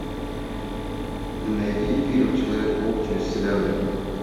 найди фильм человек паук через вселенную